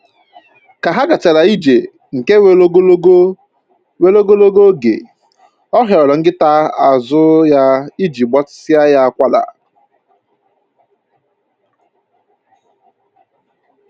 Ka ha gachara ije nke weere ogologo weere ogologo oge, ọ hịọrọ nkịta azụ ya iji gbatịsịa ya akwara